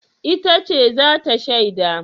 Ita ce za ta shaida?